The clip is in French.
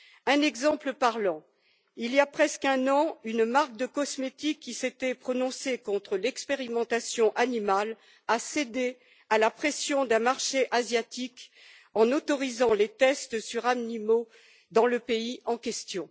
Un exemple parlant il y a presque un an, une marque de cosmétiques, qui s'était prononcée contre l'expérimentation animale, a cédé à la pression d'un marché asiatique en autorisant les tests sur animaux dans le pays en question.